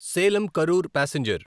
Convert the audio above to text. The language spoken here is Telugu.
సేలం కరూర్ పాసెంజర్